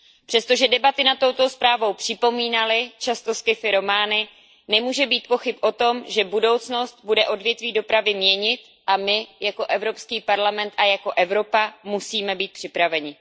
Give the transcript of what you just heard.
Přesto, že debaty nad touto zprávou připomínaly často sci fi romány, nemůže být pochyb o tom, že budoucnost bude odvětví dopravy měnit, a my jako Evropský parlament a jako Evropa musíme být připraveni.